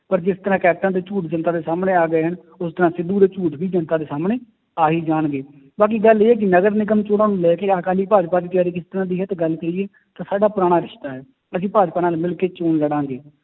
ਪਰ ਜਿਸ ਤਰ੍ਹਾਂ ਕੈਪਟਨ ਦੇ ਝੂਠ ਜਨਤਾ ਦੇ ਸਾਹਮਣੇ ਆ ਗਏ ਹਨ, ਉਸ ਤਰ੍ਹਾਂ ਸਿੱਧੂ ਦੇ ਝੂਠ ਵੀ ਜਨਤਾ ਦੇ ਸਾਹਮਣੇ ਆ ਹੀ ਜਾਣਗੇ, ਬਾਕੀ ਗੱਲ ਇਹ ਹੈ ਕਿ ਨਗਰ ਨਿਗਮ ਚੌਣਾਂ ਨੂੰ ਲੈ ਕੇ ਅਕਾਲੀ ਭਾਜਪਾ ਦੀ ਤਿਆਰੀ ਕਿਸ ਤਰ੍ਹਾਂ ਦੀ ਹੈ, ਤੇ ਗੱਲ ਕਹੀਏ ਤਾਂ ਸਾਡਾ ਪੁਰਾਣਾ ਰਿਸਤਾ ਹੈ, ਅਸੀਂ ਭਾਜਪਾ ਨਾਲ ਮਿਲਕੇ ਚੌਣ ਲੜਾਂਗੇ,